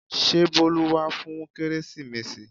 Ṣé Bolu wá fún kérésìmesì?